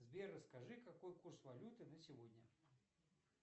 сбер расскажи какой курс валюты на сегодня